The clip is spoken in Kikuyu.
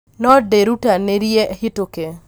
no ndĩrutanĩrie hĩtũke